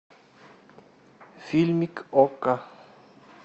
фильмик окко